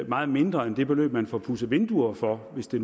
meget mindre end det beløb man får pudset vinduer for hvis det